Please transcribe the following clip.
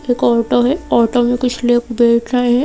एक ऑटो है ऑटो में कुछ लोग बैठे है।